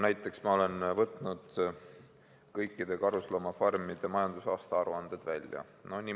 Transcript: Ma olen võtnud kõikide karusloomafarmide majandusaasta aruanded välja.